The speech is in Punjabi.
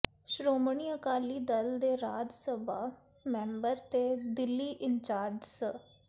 ਸ਼੍ਰੋਮਣੀ ਅਕਾਲੀ ਦਲ ਦੇ ਰਾਜ ਸਭਾ ਮੈਂਬਰ ਤੇ ਦਿੱਲੀ ਇੰਚਾਰਜ ਸ